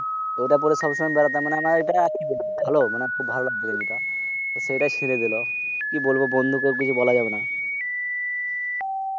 ওটা পরে সবসময় বেরাতাম। মানি আমার ভালো খুব ভালো লাগত এই গেঞ্জিটা। তো সেই টা চিড়ে দিল। কি বলব? বন্ধুদের তো কিছু বলা যাবেনা।